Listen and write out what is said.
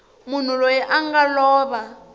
munhu loyi a nga lova